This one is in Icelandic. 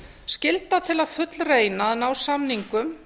skylda til að fullreyna að ná samningum